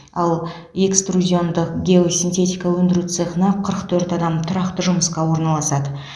ал экструзиондық геосинтетика өндіру цехына қырық төрт адам тұрақты жұмысқа орналасады